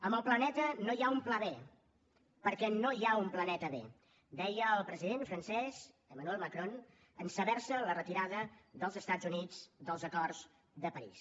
amb el planeta no hi ha un pla be perquè no hi ha un planeta be deia el president francès emmanuel macron en saber se la retirada dels estats units dels acords de parís